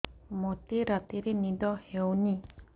ମୋତେ ରାତିରେ ନିଦ ହେଉନି